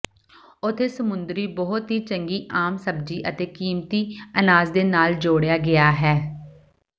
ਉੱਥੇ ਸਮੁੰਦਰੀ ਬਹੁਤ ਹੀ ਚੰਗੀ ਆਮ ਸਬਜ਼ੀ ਅਤੇ ਕੀਮਤੀ ਅਨਾਜ ਦੇ ਨਾਲ ਜੋੜਿਆ ਗਿਆ ਹੈ